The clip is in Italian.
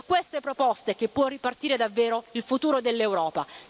È da queste proposte che può ripartire davvero il futuro dell'Europa.